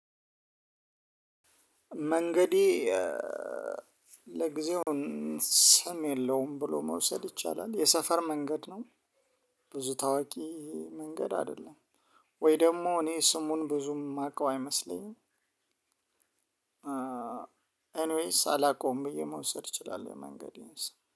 መንገዴ ለጊዜው ስም የለውም ብሎ መውሰድ ይቻላል የሰፈር መንገድ ነው። ብዙ ታዋቂ መንገድ አይደለም? ወይ ደግሞ እኔ ስሙን ብዙም የማውቀው አይመስለኝም። ኤንዌይስ አላውቀውም ብዬ መውሰድ እችላለሁ መንገዴን